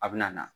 A bɛ na